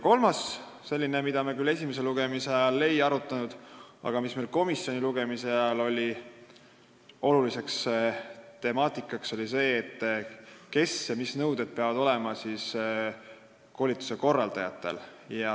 Kolmas küsimus – mida me küll esimese lugemise ajal ei arutanud, aga millest sai oluline temaatika komisjoni istungil – oli see, mis nõuetele peavad vastama koolituse korraldajad.